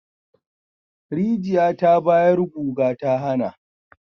Rijiya ta bayar guga ta hana